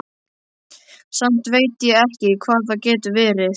Samt veit ég ekki hvað það getur verið.